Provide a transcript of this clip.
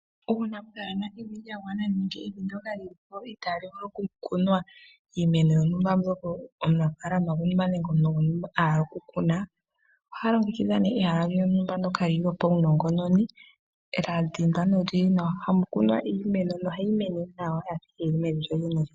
Uuna pwaana evi lya gwana nenge evi ndoka lili po itaa li vulu okukunwa iimeno yontumba omunafaalama nenge omuntu gwontumba a hala okukuna oha longekidha ihe ehala lyontumba ndjoka lyopaunongononi lya dhimbwa nolyili nawa moka hamu kunwa iimeno nohayi kala owala yafa yili mevi lyolyene.